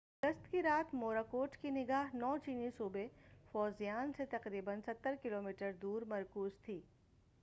9 اگست کی رات موراکوٹ کی نگاہ چینی صوبے فوزیان سے تقریبا ستر کلومیٹر دور مرکوز تھی